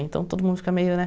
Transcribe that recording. Então todo mundo fica meio, né?